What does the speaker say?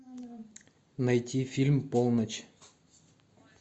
найти фильм полночь